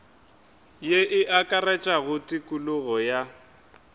ye e akaretša tokologo ya